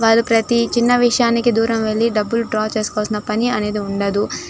వాళ్ళు ప్రతి చిన్న విషయానికి దూరం వెళ్లి డబ్బులు డ్రా చేసుకోవాల్సిన పని అనేది ఉండదు --